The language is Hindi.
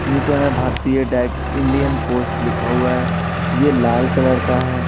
नीचे में भारतीय डाक इंडियन पोस्ट लिखा हुआ है ये लाल कलर का है।